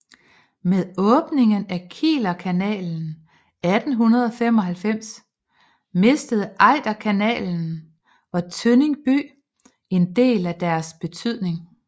Med åbningen af Kielerkanalen 1895 mistede Ejderkanalen og Tønning by en del af deres betydning